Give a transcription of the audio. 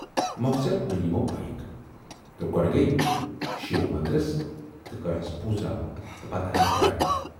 مۅخصر ٲنۍ یِمو بایِک تہٕ گۅڈٕ گٔیہِ شِو منٛدرس تہٕ کٔرہَس پوٗزا تہٕ پتہٕ آیہِ گرٕ۔